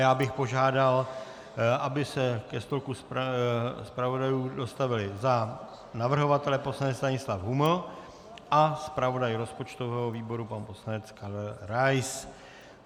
Já bych požádal, aby se ke stolku zpravodajů dostavili za navrhovatele poslanec Stanislav Huml a zpravodaj rozpočtového výboru pan poslanec Karel Rais.